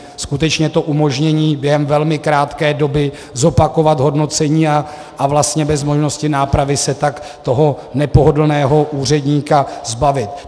Skutečně to umožnění během velmi krátké doby zopakovat hodnocení a vlastně bez možnosti nápravy se tak toho nepohodlného úředníka zbavit.